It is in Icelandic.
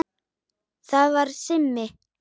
Það var Simmi.